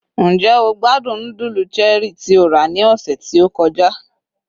njé o gbádùn nudulu Cherie tí o ra ni ọsẹ ti o kọjá